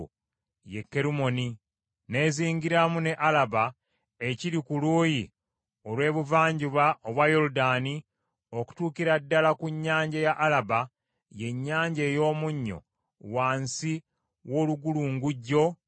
n’ezingiramu ne Alaba ekiri ku luuyi olw’ebuvanjuba obwa Yoludaani, okutuukira ddala ku Nnyanja ya Alaba, ye Nnyanja ey’Omunnyo, wansi w’olugulungujjo lw’olusozi Pisuga.